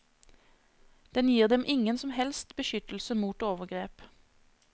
Den gir dem ingen som helst beskyttelse mot overgrep.